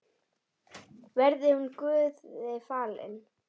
Verði hún Guði falin.